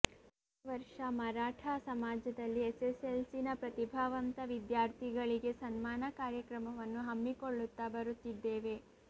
ಪ್ರತಿ ವರ್ಷ ಮರಾಠಾ ಸಮಾಜದಲ್ಲಿ ಎಸ್ಸೆಸ್ಸೆಲ್ಸಿನ ಪ್ರತಿಭಾವಂತ ವಿದ್ಯಾರ್ಥಿಗಳಿಗೆ ಸನ್ಮಾನ ಕಾರ್ಯಕ್ರಮವನ್ನು ಹಮ್ಮಿಕೊಳ್ಳುತ್ತಾ ಬರುತ್ತಿದ್ದೆವೆ